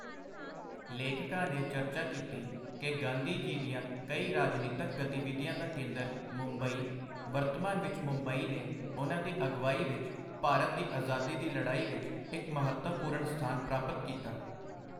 ਲੇਖਕਾਂ ਨੇ ਚਰਚਾ ਕੀਤੀ ਕਿ ਗਾਂਧੀ ਜੀ ਦੀਆਂ ਕਈ ਰਾਜਨੀਤਕ ਗਤੀਵਿਧੀਆਂ ਦਾ ਕੇਂਦਰ ਮੁੰਬਈ, ਵਰਤਮਾਨ ਵਿੱਚ ਮੁੰਬਈ ਨੇ ਉਨ੍ਹਾਂ ਦੀ ਅਗਵਾਈ ਵਿੱਚ ਭਾਰਤ ਦੀ ਅਜਾਦੀ ਦੀ ਲੜਾਈ ਵਿੱਚ ਇੱਕ ਮਹੱਤਵਪੂਰਣ ਸਥਾਨ ਪ੍ਰਾਪਤ ਕੀਤਾ।